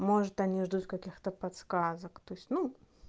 может они ждут каких-то подсказок то есть ну